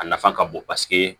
A nafa ka bon paseke